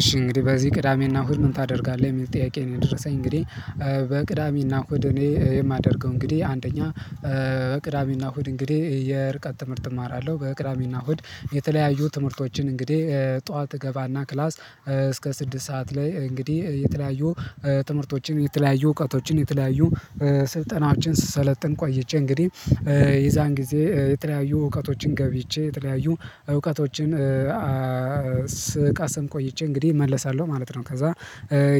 እሺ እንግዲህ በዚህ ቅዳሜና እሁድ ምን ታደርጋለህ የሚል ጥያቄ ነው? የደረሰኝ እንግዲህ በቅዳሜና እሁድ እኔ የማደርገው እንግዲህ አንደኛ በቅዳሜና እሁድ እንግዲህ የርቀት ትምህርት እማራለሁ በቅዳሜና እሁድ የተለያዩ ትምህርቶችን እንግዲህ ጠዋት እገባና ክላስ እስከ ስድስት ሰዓት ላይ እንግዲህ የተለያዩ ትምህርቶችን የተለያዩ እውቀቶችን የተለያዩ ስልጠናችን ስሰለጥን ቆይቼ እንግዲህ የዛን ጊዜ የተለያዩ እውቀቶችን ገብይቼ የተለያዩ እውቀቶችን ስቀሰም ቆይቼ እንግዲህ እመለሳለሁ ማለት ነው። ከዛ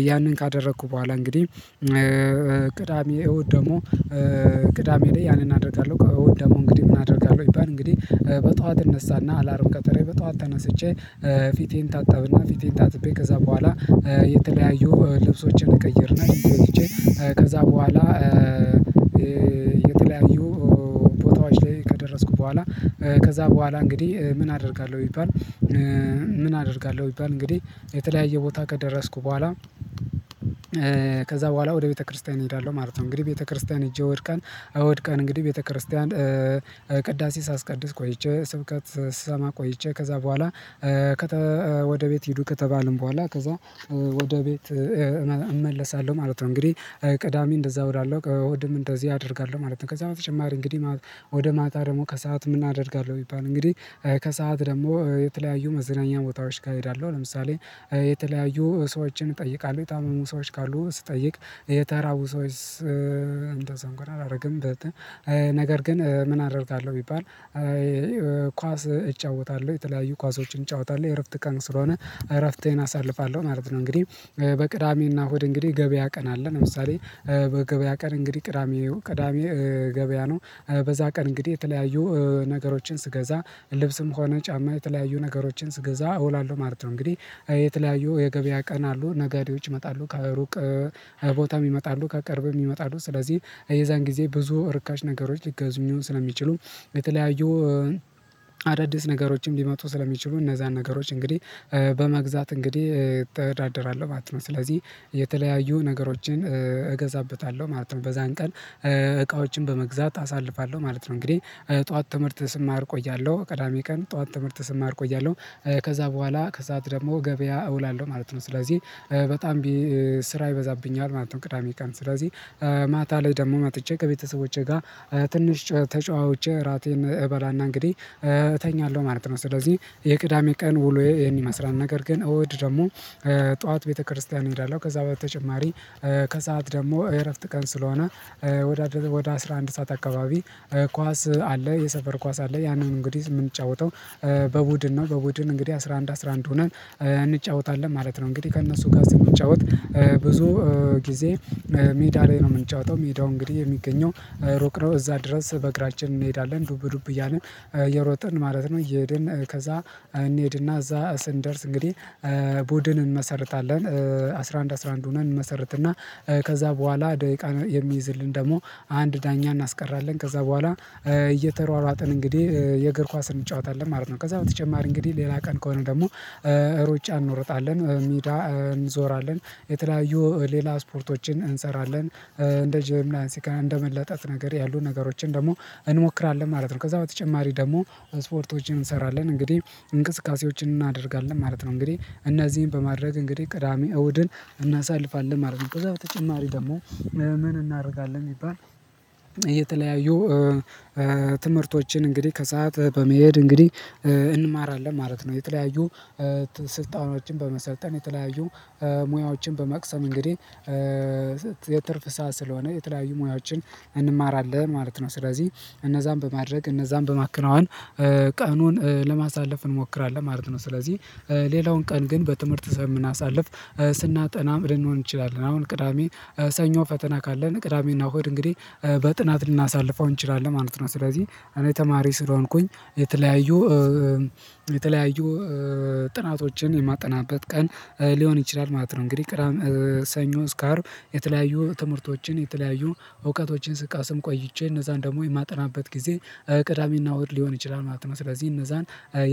ያንን ካደረኩ በኋላ እንግዲህ ቅዳሜ እሁድ ደግሞ ቅዳሜ ላይ ያንን አደርጋለሁ እሁድ ደግሞ እንግዲህ ምን አደርጋለሁ ቢባል እንግዲህ በጧት እነሳና አላርም ቀጥሬ በጧት ተነስቼ ፊቴን እታጠብና ፊቴን ታጥቤ ከዛ በኋላ የተለያዩ ልብሶችን እቀይርና ገብቼ ከዛ በኋላ የተለያዩ ቦታዎች ላይ ከደረስኩ በኋላ ከዛ በኋላ እንግዲህ ምን አደርጋለሁ ቢባል ምን አደርጋለሁ ቢባል እንግዲህ የተለያየ ቦታ ከደረስኩ በኋላ ከዛ በኋላ ወደ ቤተክርስቲያን እሄዳለሁ ማለት ነው። እንግዲህ ቤተክርስቲያን እጄ እሁድ ቀን እንግዲህ ቤተክርስቲያን ቅዳሴ ሳስቀድስ ቆይቼ ስብከት ስሰማ ቆይቼ ከዛ በኋላ ወደ ቤት ሂዱ ከተባለን በኋላ ከዛ ወደ ቤት እመለሳለሁ ማለት ነው። እንግዲህ ቅዳሜ እንደዛ እወዳለሁ እሁድም እንደዚህ አደርጋለሁ ማለት ነው። ከዛ በተጨማሪ እንግዲህ ወደ ማታ ደግሞ ከሰአት ምናደርጋለው ቢባል እንግዲህ ከሰአት ደግሞ የተለያዩ መዝናኛ ቦታዎችጋ እሄዳለሁ ለምሳሌ የተለያዩ ሰዎችን እጠይቃለሁ የታመሙ ሰዎች ካሉ ስጠይቅ የተራቡ ሰዎች እንደዛ እንኳን አላደርግም። ነገር ግን ምን አደርጋለሁ ቢባል ኳስ እጫወታለሁ የተለያዩ ኳሶችን እጫወታለሁ የእረፍት ቀን ስለሆነ እረፍቴን አሳልፋለሁ ማለት ነው። እንግዲህ በቅዳሜና እሁድ እንግዲህ ገበያ ቀን አለን ለምሳሌ በገበያ ቀን እንግዲህ ቅዳሜ ቅዳሜ ገበያ ነው። በዛ ቀን እንግዲህ የተለያዩ ነገሮችን ስገዛ ልብስም ከሆነ ጫማ የተለያዩ ነገሮችን ስገዛ እውላለሁ ማለት ነው። እንግዲህ የተለያዩ የገበያ ቀን አሉ ነጋዴዎች ይመጣሉ ከሩቅ ቦታም ይመጣሉ ከቅርብም ይመጣሉ ስለዚህ የዛን ጊዜ ብዙ እርካሽ ነገሮች ሊገዙ ስለሚችሉ የተለያዩ አዳዲስ ነገሮችም ሊመጡ ስለሚችሉ እነዛን ነገሮች እንግዲህ በመግዛት እንግዲህ እተዳደራለሁ ማለት ነው። ስለዚህ የተለያዩ ነገሮችን እገዛበታለሁ ማለት ነው። በዛን ቀን እቃዎችን በመግዛት አሳልፋለሁ ማለት ነው። እንግዲህ ጠዋት ትምህርት ስማር እቆያለሁ ቅዳሜ ቀን ጠዋት ትምህርት ስማር እቆያለሁ ከዛ በኋላ ከሰአት ደግሞ ገበያ እውላለሁ ማለት ነው ስለዚህ በጣም ስራ ይበዛብኛል ማለት ነው። ቅዳሜ ቀን ስለዚህ ማታ ላይ ደግሞ መጥቼ ከቤተሰቦቼ ጋር ትንሽ ተጨዋውቼ እራቴን እበላና እንግዲህ እተኛለሁ ማለት ነው። ስለዚህ የቅዳሜ ቀን ውሎዬ ይህን ይመስላል ነገር ግን እሁድ ደግሞ ጠዋት ቤተክርስቲያን እንሄዳለን ከዛ በተጨማሪ ከሰአት ደግሞ የእረፍት ቀን ስለሆነ ወደ አስራ አንድ ሰዓት አካባቢ ኳስ አለ የሰፈር ኳስ አለ ያንን እንግዲህ የምንጫወተው በቡድን ነው። በቡድን እንግዲህ አስራ አንድ አስራ አንድ ሆነን እንጫወታለን ማለት ነው። እንግዲህ ከእነሱ ጋር ስንጫወት ብዙ ጊዜ ሜዳ ላይ ነው የምንጫወተው ሜዳው እንግዲህ የሚገኘው ሩቅ ነው እዛ ድረስ በእግራችን እንሄዳለን ዱብ ዱብ እያልን እየሮጥን ማለት ነው። እየሄድን ከዛ እንሄድና እዛ ስንደርስ እንግዲህ ቡድን እንመሰርታለን አስራ አንድ አስራ አንድ ሆነን እንመሰርትና ከዛ በኋላ ደቂቃ የሚይዝልን ደግሞ አንድ ዳኛ እናስቀራለን ከዛ በኋላ እየተሯሯጥን እንግዲህ የእግር ኳስ እንጫወታለን ማለት ነው። ከዛ በተጨማሪ እንግዲህ ሌላ ቀን ከሆነ ደግሞ ሩጫ እንወርጣለን ሜዳ እንዞራለን የተለያዩ ሌላ ስፖርቶችን እንሰራለን እንደ ጂምናስቲክ እና እንደ መለጠጥ ነገር ያሉ ነገሮችን ደግሞ እንሞክራለን ማለት ነው። ከዛ በተጨማሪ ደግሞ ስፖርቶችን እንሰራለን እንግዲህ እንቅስቃሴዎችን እናደርጋለን ማለት ነው። እንግዲህ እነዚህን በማድረግ እንግዲህ ቅዳሜ እሁድን እናሳልፋለን ማለት ነው። ከዛ በተጨማሪ ደግሞ ምን እናደርጋለን ቢባል? የተለያዩ ትምህርቶችን እንግዲህ ከሰአት በመሄድ እንግዲህ እንማራለን ማለት ነው። የተለያዩ ስልጠናዎችን በመሰልጠን የተለያዩ ሙያዎችን በመቅሰም እንግዲህ የትርፍ ሰዓት ስለሆነ የተለያዩ ሙያዎችን እንማራለን ማለት ነው። ስለዚህ እነዛን በማድረግ እነዛን በማከናወን ቀኑን ለማሳለፍ እንሞክራለን ማለት ነው። ስለዚህ ሌላውን ቀን ግን በትምህርት ስለምናሳልፍ ስናጠናም ልንውል እንችላለን አሁን ቅዳሜ ሰኞ ፈተና ካለን ቅዳሜና እሁድ እንግዲህ በጥናት ልናሳልፈው እንችላለን ማለት ነው። ስለዚህ እኔ ተማሪ ስለሆንኩኝ የተለያዩ የተለያዩ ጥናቶችን የማጠናበት ቀን ሊሆን ይችላል ማለት ነው። እንግዲህ ሰኞ እስከ አርብ የተለያዩ ትምህርቶችን የተለያዩ እውቀቶችን ስቀስም ቆይቼ እነዛን ደግሞ የማጠናበት ጊዜ ቅዳሜና እሁድ ሊሆን ይችላል ማለት ነው። ስለዚህ እነዛን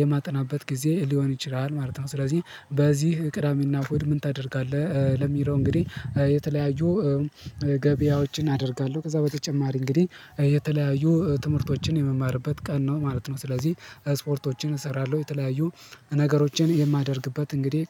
የማጠናበት ጊዜ ሊሆን ይችላል ማለት ነው። ስለዚህ በዚህ ቅዳሜና እሁድ ምን ታደርጋለህ? ለሚለው እንግዲህ የተለያዩ ገበያዎችን አደርጋለሁ ከዛ በተጨማሪ እንግዲህ የተለያዩ ትምህርቶችን የምማርበት ቀን ነው ማለት ነው። ስለዚህ ስፖርቶችን እሰራለሁ የተለያዩ ነገሮችን የማደርግበት እንግዲህ